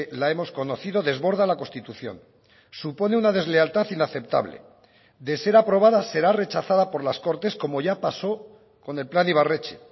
la hemos conocido desborda la constitución supone una deslealtad inaceptable de ser aprobada será rechazada por las cortes como ya pasó con el plan ibarretxe